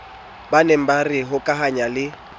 baneng e re hokahanya le